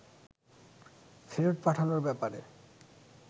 ফেরত পাঠানোর ব্যাপারে